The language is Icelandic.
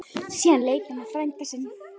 Síðan leit hann á frænda sinn.